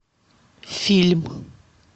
фильм